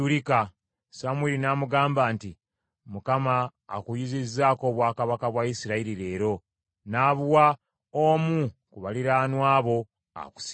Samwiri n’amugamba nti, “ Mukama akuyuzizzaako obwakabaka bwa Isirayiri leero, n’abuwa omu ku baliraanwa bo akusinga.